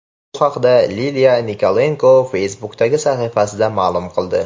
Bu haqda Liliya Nikolenko Facebook’dagi sahifasida ma’lum qildi .